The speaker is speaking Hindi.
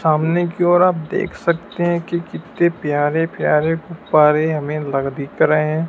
सामने की ओर आप देख सकते हैं कि कितने प्यारे प्यारे गुब्बारे हमें लग दिख रहे हैं।